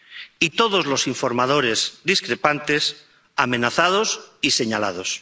Y todos los informadores discrepantes, amenazados y señalados.